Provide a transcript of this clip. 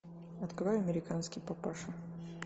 открой американский папаша